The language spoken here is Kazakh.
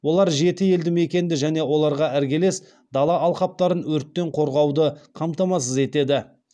олар жеті елді мекенді және оларға іргелес дала алқаптарын өрттен қорғауды қамтамасыз етеді